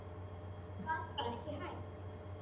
Ég gat bara ekki hætt.